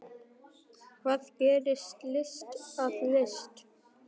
Hvað gerir list að list?